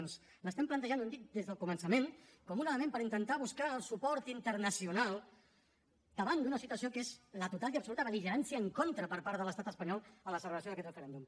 l’estem plantejant ho hem dit des del començament com un element per intentar buscar el suport internacional davant d’una situació que és la total i absoluta bel·ligerància en contra per part de l’estat espanyol de la celebració d’aquest referèndum